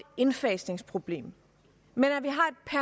indfasningsproblem men